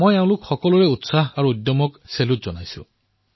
মই এওঁলোকৰ উৎসাহ এওঁলোকৰ উদ্যমশীলতাক অভিবাদন জনাইছো